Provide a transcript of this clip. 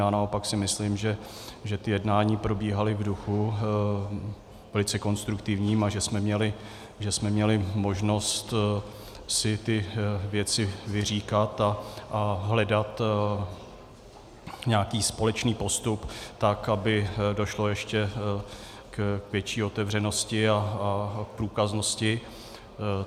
Já naopak si myslím, že ta jednání probíhala v duchu velice konstruktivním a že jsme měli možnost si ty věci vyříkat a hledat nějaký společný postup, tak aby došlo ještě k větší otevřenosti a průkaznosti.